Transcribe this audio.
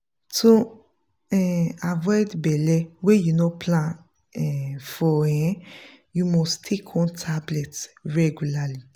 to um avoid belle wey you no plan um for um you must take one tablet regularly.